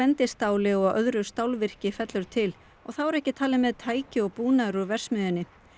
bendistáli og öðru stálvirki fellur til og þá eru ekki talin með tæki og búnaður úr verksmiðjunni